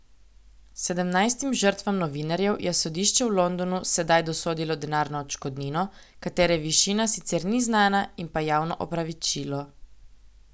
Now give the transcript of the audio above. Sedemnajstim žrtvam novinarjev je sodišče v Londonu sedaj dosodilo denarno odškodnino, katere višina sicer ni znana, in pa javno opravičilo.